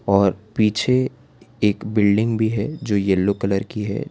और पीछे एक बिल्डिंग भी है जो येलो कलर की है।